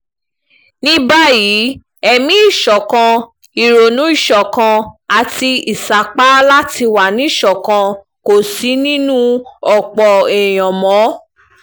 ní báyìí ẹ̀mí ìṣọ̀kan ìrònú ìṣọ̀kan àti ìsapá láti wà níṣọ̀kan kò sí nínú ọ̀pọ̀ èèyàn mọ́